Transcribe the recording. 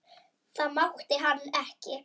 Það mátti hann ekki.